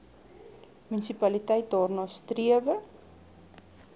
munisipaliteit daarna strewe